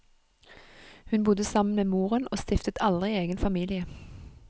Hun bodde sammen med moren og stiftet aldri egen familie.